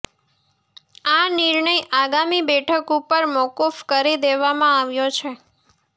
આ નિર્ણય આગામી બેઠક ઉપર મોકૂફ કરી દેવામાં આવ્યો છે